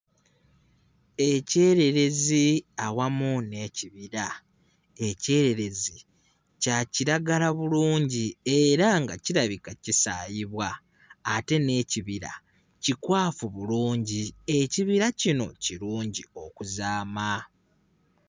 Ekyererezi awamu n'ekibira ekyererezi kya kiragala bulungi era nga kirabika kisaayibwa ate n'ekibira kikwafu bulungi ekibira kino kirungi okuzaama.